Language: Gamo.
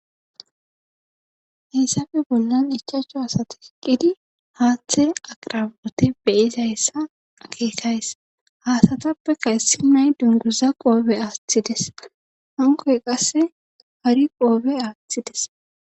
Heysafe bollan ichaacho asate qqidi haaththe aqirabote beyizayssa keetays haasatappe kayssi nay dunguza qoobe aaththides hankoy qasse hari qoobe aaththides